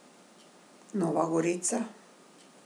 Nova gorica.